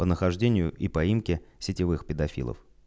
по нахождению и поимки сетевых педофилов